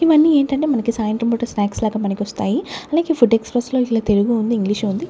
ఇవన్నీ ఏంటంటే మనకు సాయంత్రం పూట స్నాక్స్ లాగా పనికొస్తాయి అలాగే ఫుడ్ ఎక్స్ప్రెస్ లో ఇట్ల తెలుగు ఉంది ఇంగ్లీష్ ఉంది.